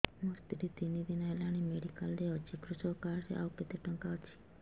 ମୋ ସ୍ତ୍ରୀ ତିନି ଦିନ ହେଲାଣି ମେଡିକାଲ ରେ ଅଛି କୃଷକ କାର୍ଡ ରେ ଆଉ କେତେ ଟଙ୍କା ଅଛି